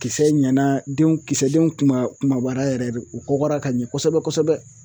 Kisɛ ɲɛna denw kisɛdenw kuma kumabayara yɛrɛ de, u kɔgɔra ka ɲɛ kosɛbɛ kosɛbɛ